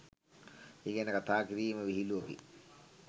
ඒ ගැන කථා කිරීම විහිළුවකි